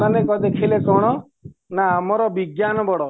ଏମାନେ ଦେଖିଲେ କ'ଣ ନା ଆମର ବିଜ୍ଞାନ ବଡ